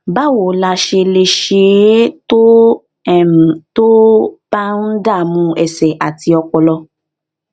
báwo la ṣe lè ṣe é tó um tó um bá ń dààmú ẹsè àti ọpọlọ